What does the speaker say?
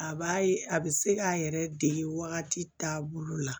A b'a ye a bɛ se k'a yɛrɛ dege wagati taabolo la